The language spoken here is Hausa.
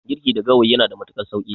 Girki da gawayi yanada matuƙar sauƙi.